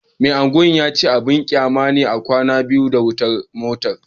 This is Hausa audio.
Mai Agwan ya ce abin kyama ne a kwana da wata matar